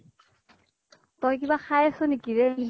তই কিবা খাই আছʼ নেকি ৰে?